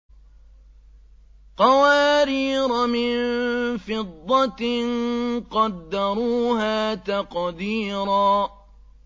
قَوَارِيرَ مِن فِضَّةٍ قَدَّرُوهَا تَقْدِيرًا